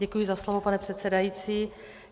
Děkuji za slovo, paní předsedající.